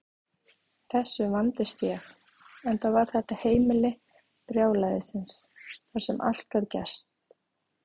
Þessu vandist ég, enda var þetta heimili brjálæðisins þar sem allt gat gerst.